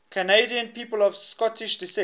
canadian people of scottish descent